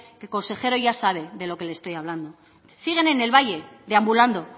el consejero ya sabe de lo que le estoy hablando siguen en el valle deambulando